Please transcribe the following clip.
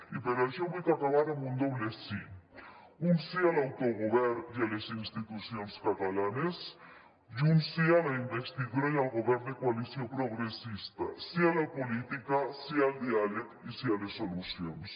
i per això vull acabar amb un doble sí un sí a l’autogovern i a les institucions catalanes i un sí a la investidura i al govern de coalició progressista sí a la política sí al diàleg i sí a les solucions